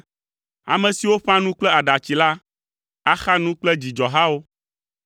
Ame siwo ƒã nu kple aɖatsi la, axa nu kple dzidzɔhawo.